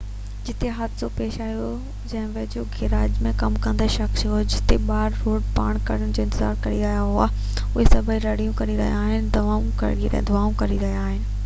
جتي حادثو پيش آيو ان جي ويجهو هڪ گيراج ۾ ڪم ڪندڙ شخص چيو هتي ٻار روڊ پار ڪرڻ جو انتظار ڪري رهيا هئا ۽ اهي سڀئي رڙيون ڪري رهيا هئا ۽ دانهون ڪري رهيا هئا